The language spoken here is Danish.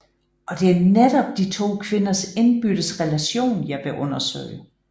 Og det er netop de to kvinders indbyrdes relation jeg vil undersøge